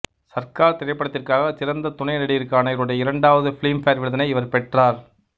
சர்கார் திரைப்படத்திற்காக சிறந்த துணை நடிகருக்கான இவருடைய இரண்டாவது பிலிம்பேர் விருதினை இவர் பெற்றார்